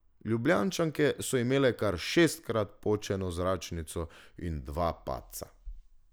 Ljubljančanke so imele kar šestkrat počeno zračnico in dva padca.